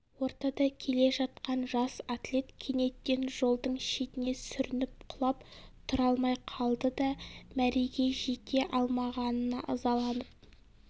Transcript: ортада келе жатқан жас атлет кенеттен жолдың шетіне сүрініп құлап тұра алмай қалды да мәреге жете алмағанына ызаланып